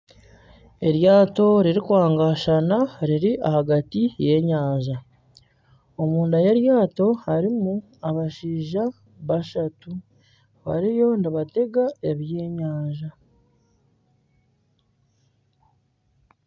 Eryaato riri kwangashana riri ahagati y'enyanja omunda y'eryaato harimu abashaija bashatu bariyo nibatega ebyenyanja